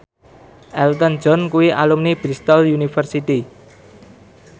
Elton John kuwi alumni Bristol university